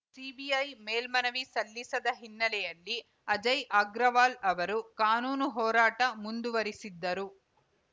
CBI ಮೇಲ್ಮನವಿ ಸಲ್ಲಿಸದ ಹಿನ್ನೆಲೆಯಲ್ಲಿ ಅಜಯ್‌ ಆಗ್ರಾವಾಲ್‌ ಅವರು ಕಾನೂನು ಹೋರಾಟ ಮುಂದುವರಿಸಿದ್ದರು